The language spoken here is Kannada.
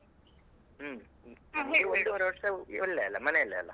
ಹ್ಮ್ ಹ್ಮ್ ನಮಗೆ ಒಂದೂವರೆ ವರ್ಷ ಇಲ್ಲೇ ಅಲ್ಲಾ ಮನೆಯಲ್ಲೇ ಅಲ್ಲಾ.